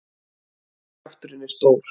Kjafturinn er stór.